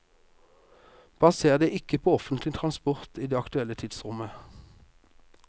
Baser deg ikke på offentlig transport i det aktuelle tidsrommet.